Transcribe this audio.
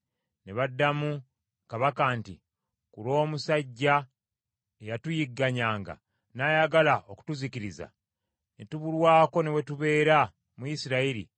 Ne baddamu kabaka nti, “Ku lw’omusajja eyatuyigganyanga n’ayagala okutuuzikiriza, ne tubulwako ne we tubeera mu Isirayiri,